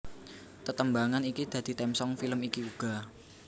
Tetembangan iki dadi theme song film iki uga